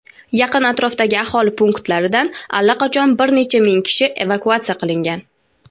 Yaqin atrofdagi aholi punktlaridan allaqachon bir necha ming kishi evakuatsiya qilingan.